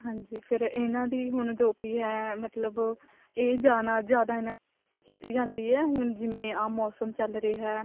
ਹਾਂਜੀ ਫ਼ੇਰ ਇਹਾਂ ਦੀ ਜੋ ਵੀ ਹੈ ਮਤਲਬ ਇਹ ਜਾਣਾ ਜਿਆਦਾ ਇਹਨਾ ਦੀ ਕੀਤੀ ਜਾਂਦੀ ਹੈ ਹੁਣ ਜਿਵੇਂ ਆਹ ਮੋਸਮ ਚੱਲ ਰਿਹਾ